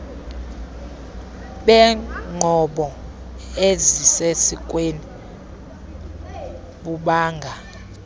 beenqobo ezisesikweni bubanga